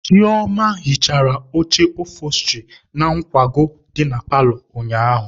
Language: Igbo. Chioma hichara oche ofosturị na nkwago dị na paalọ ụnyaahụ.